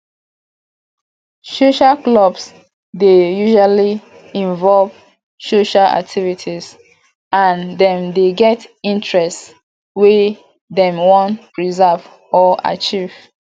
social clubs dey usually invove social activities and dem dey get interest wey dem wan preserve or achieve